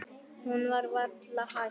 En nú var það hætt.